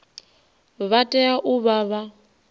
vha tea u vha vha